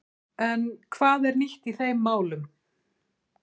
En hvað er nýtt í þeim málum?